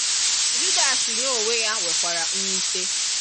Judas ya onwe ya nwekwara mwute.